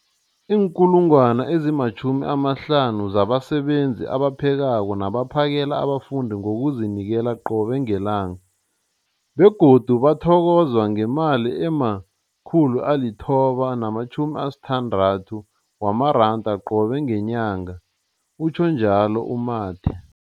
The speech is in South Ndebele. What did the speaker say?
50 000 zabasebenzi abaphekako nabaphakela abafundi ngokuzinikela qobe ngelanga, begodu bathokozwa ngemali ema-960 wamaranda qobe ngenyanga, utjhwe njalo u-Mathe.